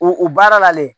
U u baara la dɛ